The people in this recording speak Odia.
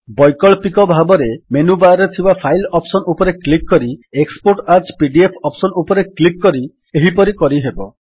ବୈକଳ୍ପିକ ଭାବରେ ମେନୁ ବାର୍ ରେ ଥିବା ଫାଇଲ୍ ଅପ୍ସନ୍ ଉପରେ କ୍ଲିକ୍ କରି ଏକ୍ସପୋର୍ଟ ଆଜ୍ ପିଡିଏଫ୍ ଅପ୍ସନ୍ ଉପରେ କ୍ଲିକ୍ କରି ଏହିପରି କରିପାରିବେ